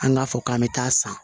An k'a fɔ k'an bɛ taa san